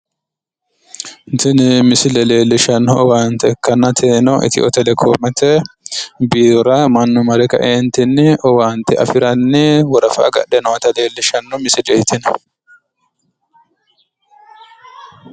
tini misile leellishshannohu owaante ikkanna tinino itio telekomete biirora mannu mare kaeentinni owaante afiranni worafa agadhe noota leellishshanno misileeti tini.